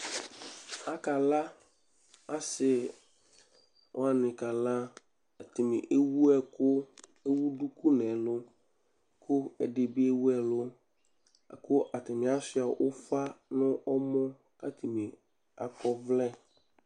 asi ni kala ɛdi ni ewʊ ɛkʊ nʊ ʊli kʊ ɛdi ni ewʊ ʊfa nʊ ɛmɔ